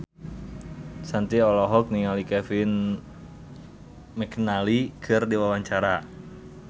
Shanti olohok ningali Kevin McNally keur diwawancara